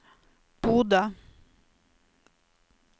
Bodø